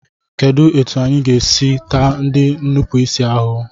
Kedụ etu anyị ga-esi taa ndị nnupụisi ahụhụ?